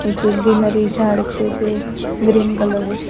નીચે ગ્રીનરી ઝાડ છે જે ગ્રીન કલર નું છે.